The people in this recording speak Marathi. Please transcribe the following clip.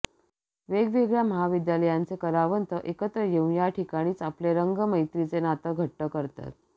वेगवेगळ्या महाविद्यालयांचे कलावंत एकत्र येऊन या ठिकाणीच आपलं रंगमैत्रीचं नातं घट्ट करतात